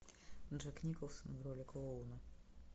джек николсон в роли клоуна